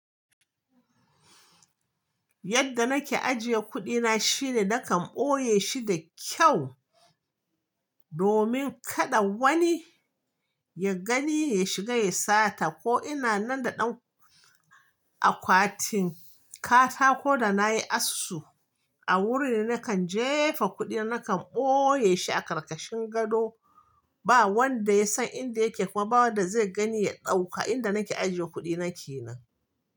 Yadda nake ajiye kuɗina shine nakan ɓoye shi da kyau domin kada wani ya gani ya shiga ya sata. Ko ina nan da ɗan akwatin katako da nayi asu a wurin nakan jefa kuɗi, nakan ɓoye shi a ƙarƙashin gado. Ba wanda ya san inda yake kuma ba wanda zai gani ya ɗauka inda nake ajiye kuɗina kenan.